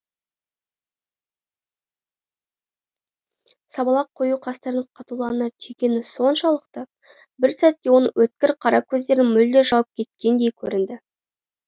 сабалақ қою қастарын қатулана түйгені соншалықты бір сәтке оның өткір қара көздерін мүлде жауып кеткендей көрінді